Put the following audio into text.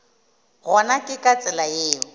gona ke ka tsela yeo